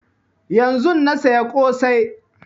Yanzun na saya ƙosai